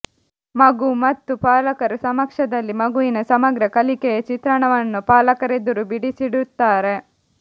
ಮಗು ಮತ್ತು ಪಾಲಕರ ಸಮಕ್ಷಮದಲ್ಲಿ ಮಗುವಿನ ಸಮಗ್ರ ಕಲಿಕೆಯ ಚಿತ್ರಣವನ್ನು ಪಾಲಕರೆದುರು ಬಿಡಿಸಿಡುತ್ತಾರೆ